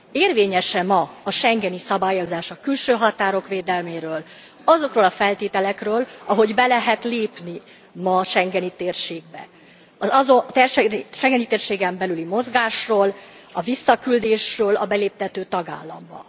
Érvényes e ma a schengeni szabályozás a külső határok védelméről, azokról a feltételekről, ahogy be lehet lépni ma a schengeni térségbe, a schengeni térségen belüli mozgásról, a visszaküldésről a beléptető tagállamba?